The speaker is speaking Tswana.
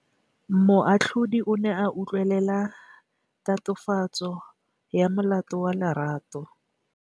Moatlhodi o ne a utlwelela tatofatsô ya molato wa Lerato.